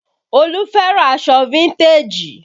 Olu fẹ́ràn aṣọ fíntèjì